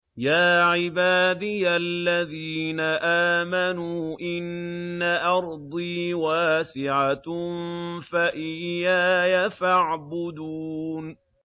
يَا عِبَادِيَ الَّذِينَ آمَنُوا إِنَّ أَرْضِي وَاسِعَةٌ فَإِيَّايَ فَاعْبُدُونِ